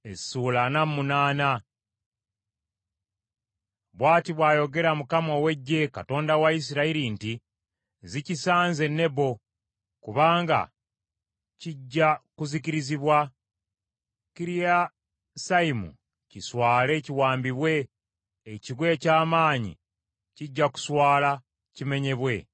Ebikwata ku Mowaabu: Bw’ati bw’ayogera Mukama ow’Eggye, Katonda wa Isirayiri nti, “Zikisanze Nebo, kubanga kijja kuzikirizibwa, Kiriyasayimu kiswale kiwambibwe, ekigo eky’amaanyi kijja kuswala kimenyebwe.